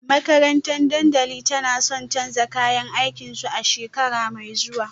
Makarantar Danladi tana son canza kayan aikinsu a shekara mai zuwa